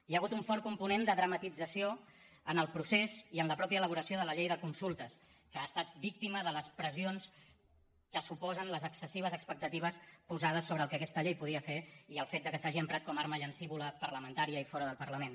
hi ha hagut un fort component de dramatització en el procés i en la mateixa elaboració de la llei de consultes que ha estat víctima de les pressions que suposen les excessives expectatives posades sobre el que aquesta llei podia fer i el fet que s’hagi emprat com a arma llancívola parlamentària i fora del parlament